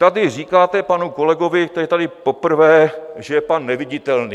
Tady říkáte panu kolegovi, který je tady poprvé, že je pan Neviditelný.